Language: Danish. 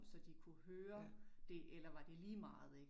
Så det kunne høre det eller var det ligemeget? Ik